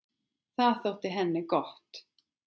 Það þótti henni gott.